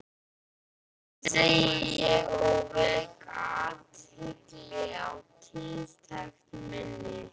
segi ég og vek athygli á tiltekt minni.